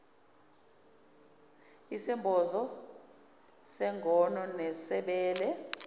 isembozo sengono nesebele